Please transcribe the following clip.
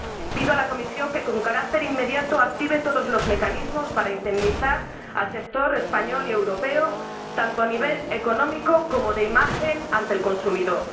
Pido a la Comisión que, con carácter inmediato, active todos los mecanismos para indemnizar al sector español y europeo, tanto a nivel económico como de imagen ante el consumidor.